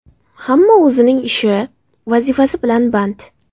Hamma o‘zining ishi, vazifasi bilan band.